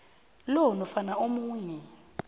lo nofana omunye